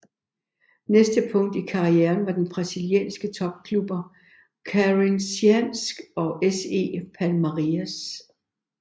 Næste punkt i karrieren var der brasilianske topklubber Corinthians og SE Palmeiras